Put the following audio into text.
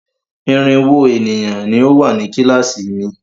Irínwó ènìyàn ni ó wà ní kíláàsì mi.